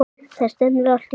Það stefnir allt í það.